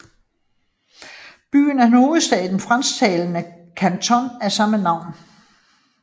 Byen er hovedby i den fransktalende kanton af samme navn